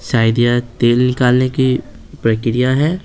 शायद यह तेल निकालने की प्रक्रिया है।